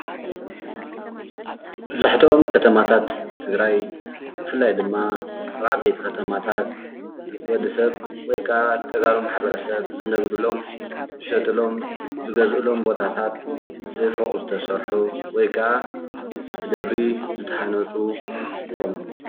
መብዛሕትኦም ከተማታታት ትግራይ ብፍላይ ድማ ኣብ ዓበይቲ ከተማታት ወድሰብ ወይ ከዓ ተጋሩ ማሕበረሰብ ዝነብሩሎም፣ ዝሸጥሎም ዝገዝእሎም ቦታታት ብፉቕ ዝተሰርሑ ወይ ክዓ ብደብሪ ዝተሃነፁ ይኾኑ።